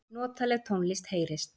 Notaleg tónlist heyrist.